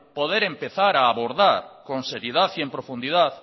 poder empezar a abordar con seriedad y en profundidad